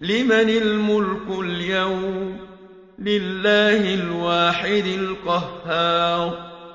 لِّمَنِ الْمُلْكُ الْيَوْمَ ۖ لِلَّهِ الْوَاحِدِ الْقَهَّارِ